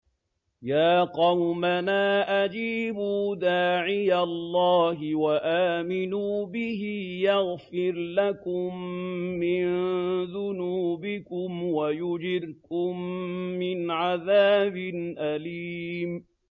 يَا قَوْمَنَا أَجِيبُوا دَاعِيَ اللَّهِ وَآمِنُوا بِهِ يَغْفِرْ لَكُم مِّن ذُنُوبِكُمْ وَيُجِرْكُم مِّنْ عَذَابٍ أَلِيمٍ